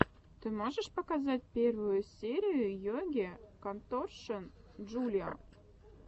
ты можешь показать первую серию йоги конторшен джулиа